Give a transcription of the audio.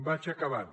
vaig acabant